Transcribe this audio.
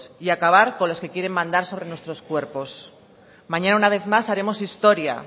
y acabar con las que quieren mandar sobre nuestros cuerpos mañana una vez más haremos historia